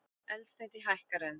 Eldsneyti hækkar enn